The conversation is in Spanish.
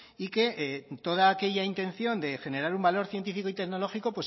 y que toda aquella intención de generar un valor científico y tecnológico